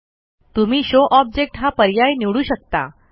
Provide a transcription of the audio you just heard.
तुम्ही show object हा पर्याय निवडू शकता